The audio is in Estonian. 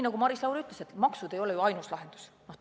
Nagu Maris Lauri ütles, maksud ei ole ju ainus lahendus.